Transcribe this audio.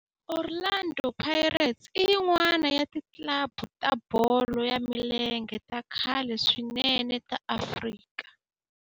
Orlando Pirates i yin'wana ya ti club ta bolo ya milenge ta khale swinene ta Afrika